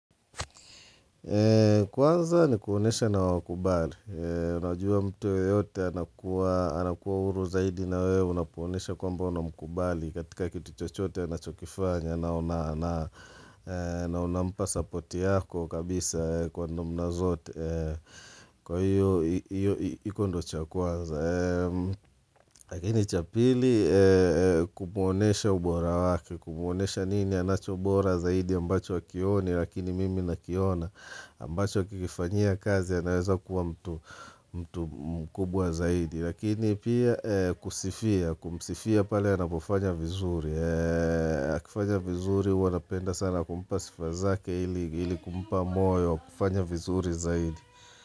Kwanza ni kuonesha na wakubali Unajua mtuyo yote anakuwa huru zaidi na wewe Unapoonesha kwamba unamkubali katika kitu chochote anachokifanya na unampa supporti yako kabisa kwa namna zote Kwa hiyo hiyo hiyo ndo chakwanza Lakini chapili kumuonesha ubora wake Kumuonesha nini anachobora zaidi ambacho hakioni Lakini mimi na kiona ambacho akikifanyia kazi anaweza kuwa mtu mkubwa zaidi Lakini pia kusifia, kumsifia pale anapofanya vizuri akifanya vizuri huwanapenda sana kumpa sifazake ili kumpa moyo wakufanya vizuri zaidi.